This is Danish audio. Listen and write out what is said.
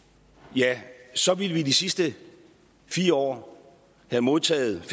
ja så ville vi i de sidste fire år have modtaget